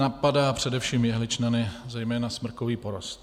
Napadá především jehličnany, zejména smrkový porost.